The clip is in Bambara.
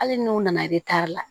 Hali n'u nana la